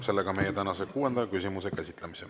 Lõpetan tänase kuuenda küsimuse käsitlemise.